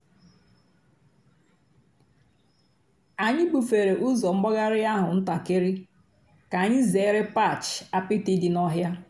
ányị́ búfèré ụ́zọ́ m̀gbàghàrị́ àhú́ ǹtàkị́rị́ kà ányị́ zèéré patch àpịtị́ dị́ n'ọ̀hị́à.